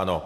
Ano.